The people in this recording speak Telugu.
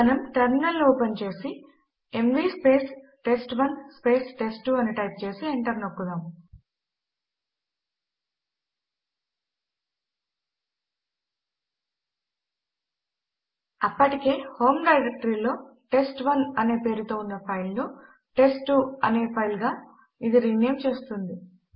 మనము టెర్మినల్ ను ఓపెన్ చేసి ఎంవీ టెస్ట్1 టెస్ట్2 అని టైప్ చేసి ఎంటర్ నొక్కుదాం అప్పటికే హోమ్ డైరెక్టరీలో టెస్ట్1 అనే పేరుతో ఉన్న ఫైల్ ను టెస్ట్2 అనే ఫైల్ గా ఇది రీనేమ్ చేస్తుంది